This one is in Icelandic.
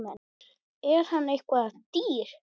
Er hann eitthvað dýr?